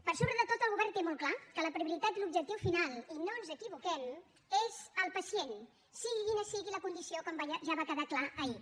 per sobre de tot el govern té molt clar que la prioritat i l’objectiu final i no ens equivoquem és el pacient sigui quina sigui la condició com ja va quedar clar ahir